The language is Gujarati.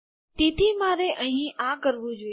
તેથી મારે અહીં આ કરવું જોઈએ